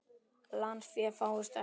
Lánsfé fáist ekki.